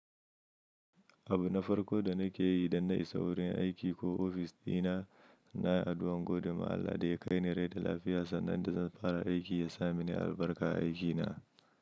Abu na farko da nake yi idan na isa wurin aiki ko ofis dina nayi addu’an godiya ma Allah da ya kaini rai da lafiya sannan da zan fara aiki ya samini albarka a aikina.